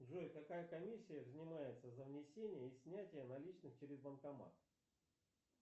джой какая комиссия взимается за внесение и снятие наличных через банкомат